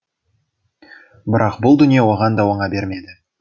бірақ бұл дүние оған да оңа бермеді